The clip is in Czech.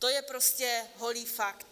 To je prostě holý fakt.